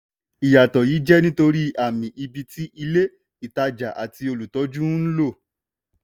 ìyàtọ̀ yìí jẹ́ nítorí àmì ibi tí ilé-ìtajà àti olùtọ́jú ń um lo.